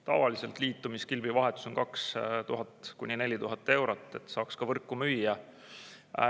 Tavaliselt liitumiskilbi vahetus on 2000–4000 eurot, et saaks ka võrku müüa.